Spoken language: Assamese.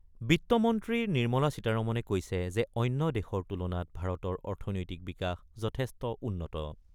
বিত্তমন্ত্ৰী নিৰ্মলা সীতাৰমনে কৈছে যে অন্য দেশৰ তুলনাত ভাৰতৰ অৰ্থনৈতিক বিকাশ যথেষ্ট উন্নত।